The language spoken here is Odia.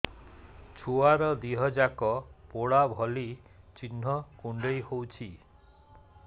ଛୁଆର ଦିହ ଯାକ ପୋଡା ଭଳି ଚି଼ହ୍ନ କୁଣ୍ଡେଇ ହଉଛି